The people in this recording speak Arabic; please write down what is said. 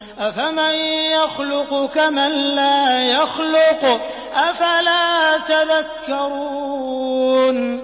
أَفَمَن يَخْلُقُ كَمَن لَّا يَخْلُقُ ۗ أَفَلَا تَذَكَّرُونَ